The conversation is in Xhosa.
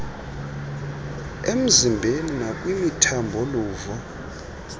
emzimbeni nakwimithambo luvo